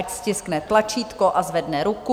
Ať stiskne tlačítko a zvedne ruku.